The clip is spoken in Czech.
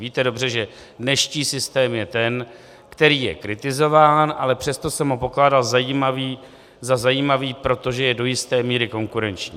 Víte dobře, že dnešní systém je ten, který je kritizován, ale přesto jsem ho pokládal za zajímavý, protože je do jisté míry konkurenční.